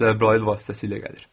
Cəbrayıl vasitəsilə gəlir.